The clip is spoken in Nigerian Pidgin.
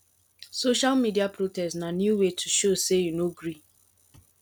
social media protest na new way to show sey you no gree